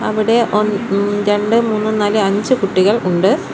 ഇവിടെ ഒന് ഉം രണ്ട് മൂന്ന് നാല് അഞ്ച് കുട്ടികൾ ഉണ്ട്.